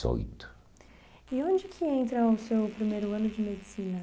dezoito. E onde que entra o seu primeiro ano de medicina?